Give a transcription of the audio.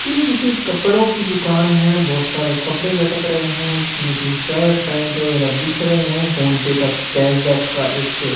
ये किसी कपड़ों की दुकान है बहुत सारे कपड़े लटक रहे हैं जिसमें कि शर्ट पैंट वगैरह दिख रहे हैंफ़ोन पे का कैशबैक का एक--